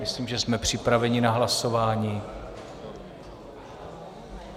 Myslím, že jsme připraveni na hlasování.